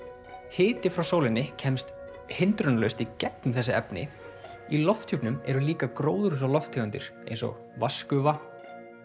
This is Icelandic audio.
hiti frá sólinni kemst hindrunarlaust í gegnum þessi efni í lofthjúpnum eru líka gróðurhúsalofttegundir eins og vatnsgufa